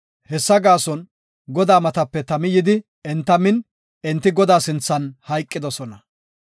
Hessa gaason Godaa matape tami yidi enta min, enti Godaa sinthan hayqidosona.